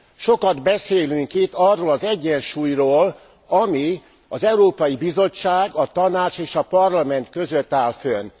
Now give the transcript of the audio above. Sokat beszélünk itt arról az egyensúlyról, ami az Európai Bizottság a Tanács és a Parlament között áll fönn.